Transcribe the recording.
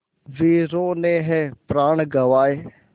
वीरों ने है प्राण गँवाए